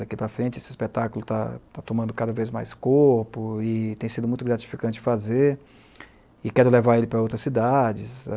Daqui para frente esse espetáculo está tomando cada vez mais corpo e tem sido muito gratificante fazer e quero levar ele para outras cidades.